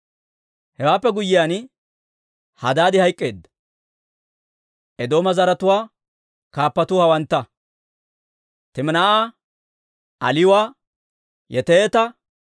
Hewaappe guyyiyaan, Hadaadi hayk'k'eedda. Eedooma zaratuwaa kaappatuu hawantta: Timinaa'a, Aliwa, Yeteeta,